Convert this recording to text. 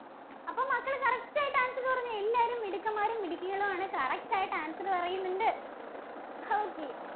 അപ്പൊ മക്കള് correct ആയിട്ട് answer പറഞ്ഞ് എല്ലാവരും മിടുക്കന്മാരും മിടുക്കികളും ആണ്. correct ആയിട്ട് answer പറയുന്നുണ്ട്. okay